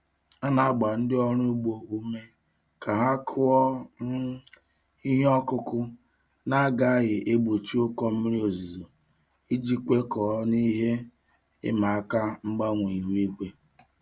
A na-agba ndị ọrụ ugbo ume ka ha kụọ um ihe ọkụkụ na-agaghị egbochi ụkọ mmiri ozuzo iji kwekọọ n'ihe ịma aka mgbanwe ihu igwe.